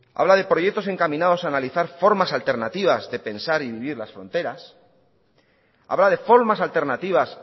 habla de proyectos encaminados a analizar formas alternativas de pensar y vivir las fronteras habla de formas alternativas